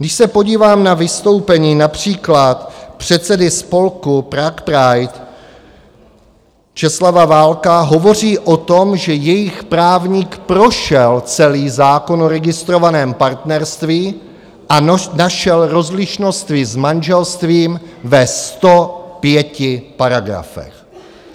Když se podívám na vystoupení například předsedy spolku Prague Pride Česlava Valka - hovoří o tom, že jejich právník prošel celý zákon o registrovaném partnerství a našel rozlišnosti s manželstvím ve 105 paragrafech.